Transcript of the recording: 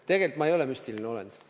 Tegelikult ma ei ole müstiline olend.